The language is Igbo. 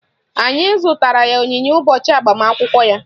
Anyị zụtara ya onyinye ụbọchị agbamakwụkwọ ya